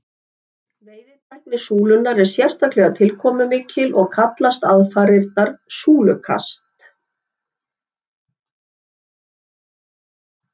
Veiðitækni súlunnar er sérstaklega tilkomumikil og kallast aðfarirnar súlukast.